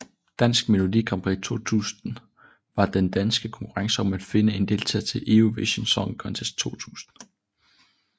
Dansk Melodi Grand Prix 2000 var den danske konkurrence om at finde en deltager til Eurovision Song Contest 2000